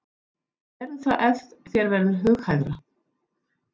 Gerðu það ef þér verður hughægra.